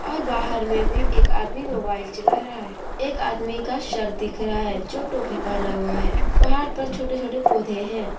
और बाहर में भी एक आदमी मोबाइल चला रहा है एक आदमी का सर दिख रहा है जो टोपी पहना हुआ है पहाड़ पर छोटे छोटे पौधे हैं।